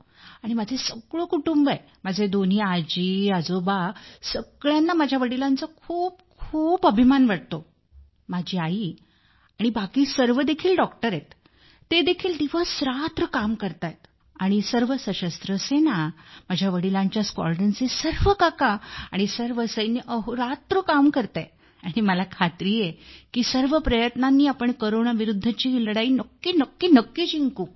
आणि माझे सगळे कुटुंब आहे माझे दोन्ही आजी आजोबा सगळ्यांना माझ्या वडिलांचा खूप अभिमान वाटतो माझी आई आणि बाकी सर्व देखील डॉक्टर आहेत ते देखील दिवसरात्र काम करत आहेत आणि सर्व सशस्त्र सेना माझ्या वडिलांच्या स्क्वाड्रॉनचे सर्व काका आणि सर्व सैन्य अहोरात्र काम करीत आहे आणि मला खात्री आहे की सर्व प्रयत्नांनी आपण कोरोना विरुद्धची ही लढाई नक्कीच जिंकू